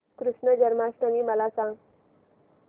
कृष्ण जन्माष्टमी मला सांग